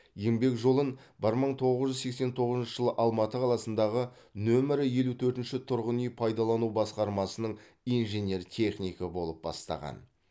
еңбек жолын бір мың тоғыз жүз сексен тоғызыншы жылы алматы қаласындағы нөмірі елу төртінші тұрғын үй пайдалану басқармасының инженер технигі болып бастаған